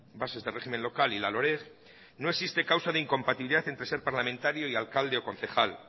bases de régimen local y la loreg no existe causa de incompatibilidad entre ser parlamentario y alcalde o concejal